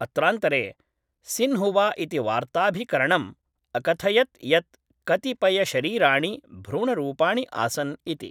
अत्रान्तरे, सिन्हुवा इति वार्ताऽभिकरणम् अकथयत् यत् कतिपयशरीराणि भ्रूणरूपाणि आसन् इति।